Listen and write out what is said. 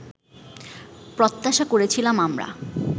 প্রত্যাশা করেছিলাম আমরা